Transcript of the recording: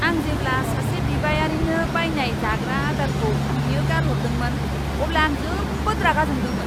आं जेब्ला सासे बिबायारिनो बायनाय जाग्रा आदारखौ बियो गारहरदोंमोन, अब्ला आं जोबोद रागा जोंदोंमोन।